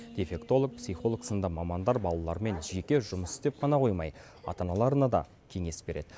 дефектолог психолог сынды мамандар балалармен жеке жұмыс істеп қана қоймай ата аналарына да кеңес береді